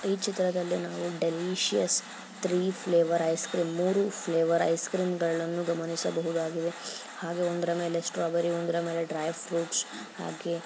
ಈ ಚಿತ್ರದಲ್ಲಿ ನಾವು delicious three flavour ice cream ಮೂರೂ ಫ್ಲೇವರ್ ಐಸ್ ಕ್ರೀಮ್ ಗಳನ್ನು ಗಮನಿಸಬಹುದಾಗಿದೆ ಹಾಗೆ ಒಂದ್ರ ಮೇಲೆ ಸ್ಟ್ರಾಬೆರಿ ಒಂದ್ರ ಮೇಲೆ ಡ್ರೈ ಫ್ರೂಟ್ಸ್ ಹಾಗೆ --